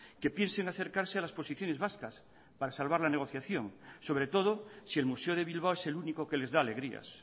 que piense en acercarse a las posiciones vascas para salvar la negociación sobre todo si el museo de bilbao es el único que les da alegrías